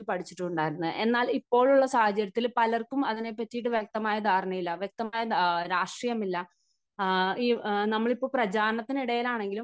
പഠിച്ചിട്ട് ഉണ്ടായിരുന്നത്. എന്നാൽ ഇപ്പോഴുള്ള സാഹചര്യത്തിൽ പലർക്കും അതിനെപ്പറ്റി വ്യക്തമായ ധാരണയില്ല, വ്യക്തമായ രാഷ്ട്രീയം ഇല്ല. നമ്മളിപ്പോൾ പ്രചാരണത്തിന് ഇടയിൽ ആണെങ്കിലും